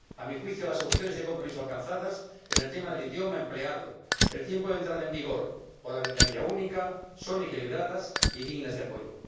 A mi juicio, las soluciones de compromiso alcanzadas en el tema del idioma empleado, el tiempo de entrada en vigor o la ventanilla única son equilibradas y dignas de apoyo.